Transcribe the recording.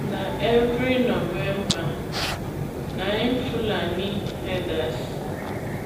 na every november na fulani herders